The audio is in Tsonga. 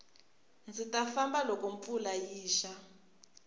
ndzi ta famba loko mpfula yi xa